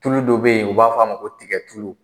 Tulu dɔ bɛ yen, u b'a f'a ma ko tiga tulu.